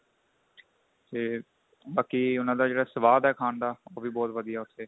ਤੇ ਬਾਕੀ ਉਹਨਾ ਦਾ ਜਿਹੜਾ ਸਵਾਦ ਏ ਖਾਣ ਦਾ ਉਹ ਵੀ ਬਹੁਤ ਵਧੀਆ ਉੱਥੇ